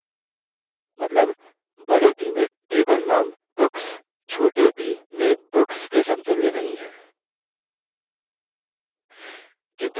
मतलब बड़े b में table name books छोटे b में books के समतुल्य नहीं है